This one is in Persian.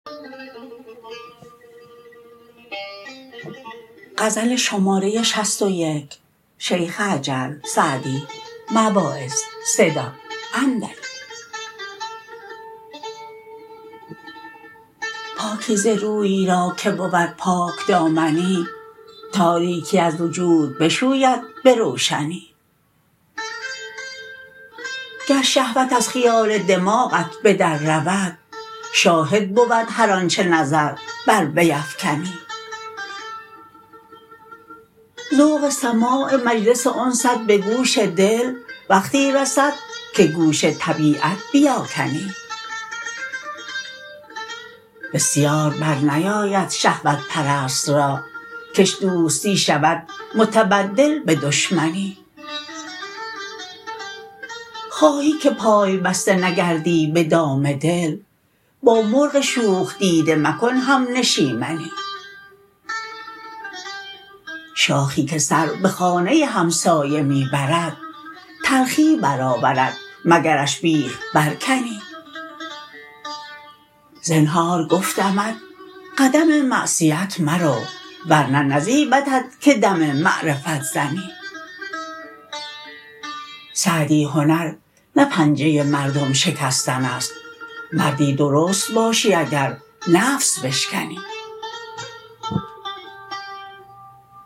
پاکیزه روی را که بود پاکدامنی تاریکی از وجود بشوید به روشنی گر شهوت از خیال دماغت به در رود شاهد بود هر آنچه نظر بر وی افکنی ذوق سماع مجلس انست به گوش دل وقتی رسد که گوش طبیعت بیاکنی بسیار بر نیاید شهوت پرست را کش دوستی شود متبدل به دشمنی خواهی که پای بسته نگردی به دام دل با مرغ شوخ دیده مکن همنشیمنی شاخی که سر به خانه همسایه می برد تلخی برآورد مگرش بیخ برکنی زنهار گفتمت قدم معصیت مرو ورنه نزیبدت که دم معرفت زنی سعدی هنر نه پنجه مردم شکستن است مردی درست باشی اگر نفس بشکنی